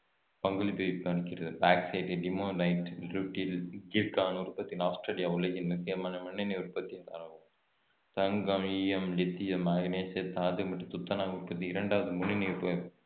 பங்களிப்பை அளிக்கிறது bauxite limonite rutile zircon உற்பத்தியில் ஆஸ்திரேலியா உலகின் முக்கியமான முன்னணி உற்பத்தியாளரா~ தங்கம் ஈயம் லித்தியம் தாது மற்றும் துத்தநாகம் உற்பத்தியில் இரண்டாவது முன்னணி உற்ப~